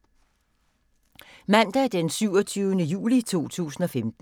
Mandag d. 27. juli 2015